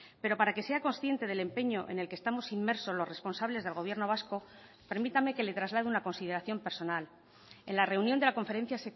pero para que sea consciente del empeño en el que estamos inmersos los responsables del gobierno vasco permítame que le traslade una consideración personal en la reunión de la conferencia